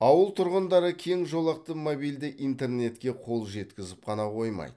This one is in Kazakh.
ауыл тұрғындары кең жолақты мобильді интернетке қол жеткізіп қана қоймайды